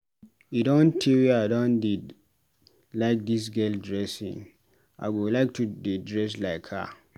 E don tee wey I don dey like dis girl dressing, I go like to dey dress like her.